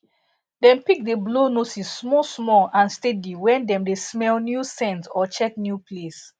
dem pig d blow noses small small and steady wen dem dey smell new scent or check new place